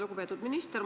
Lugupeetud minister!